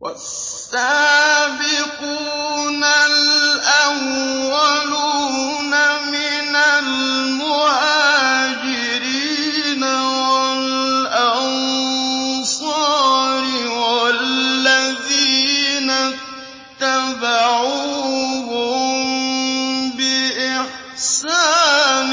وَالسَّابِقُونَ الْأَوَّلُونَ مِنَ الْمُهَاجِرِينَ وَالْأَنصَارِ وَالَّذِينَ اتَّبَعُوهُم بِإِحْسَانٍ